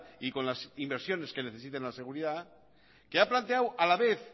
y con las inversiones que necesita en la seguridad que ha planteado a la vez